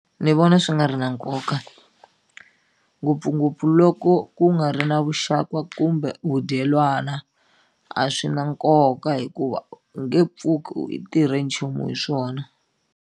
Ni vona swi nga ri na nkoka ngopfungopfu loko ku nga ri na vuxaka kumbe vudyelwana a swi na nkoka hikuva u nge pfuki i tirhe nchumu hi swona.